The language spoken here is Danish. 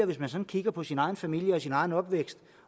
hvis man sådan kigger på sin egen familie og sin egen opvækst